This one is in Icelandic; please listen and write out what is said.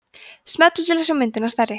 smellið til að sjá myndina stærri